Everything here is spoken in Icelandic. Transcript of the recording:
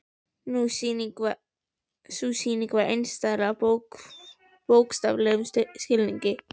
Sú sýning var einstæð í bókstaflegum skilningi.